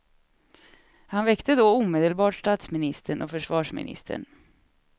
Han väckte då omedelbart statsministern och försvarsministern.